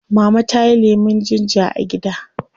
Mama tayi lemun ginger a gida